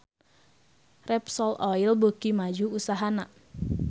Repsol Oil beuki maju usahana